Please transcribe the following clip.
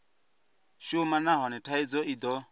shuma nahone thaidzo i do